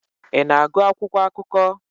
Ị na-agụ akwụkwọ akụkọ?